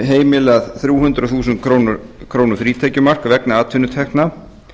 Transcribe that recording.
heimilað þrjú hundruð þúsund króna frítekjumark vegna atvinnutekna